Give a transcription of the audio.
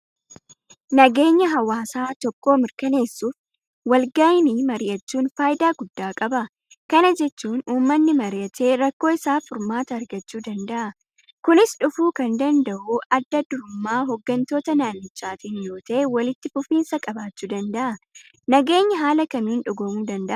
Nageenya hawaasa tokkoo mirkaneessuuf walgahanii mari'achuun faayidaa guddaa qaba. Kana jechuun uummanni mari'ate rakkoo isaaf furmaata argachuu danda'a. Kunis dhufuu kan danda'u addadurummaa hooggantoota naannichaatiin yoota'e walitti fufinsa qabaachuu danda'a. Nageenyi haala kamiin dhugoomuu danda'a?